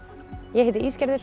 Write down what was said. ég heiti